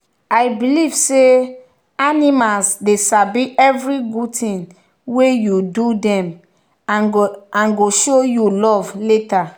i believe say animals dey sabi every good thing were you do them and go show you love later.